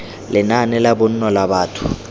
lenaane la bonno la batho